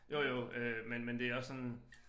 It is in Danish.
Jo jo øh men men det også sådan